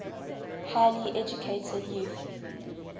highly educated youth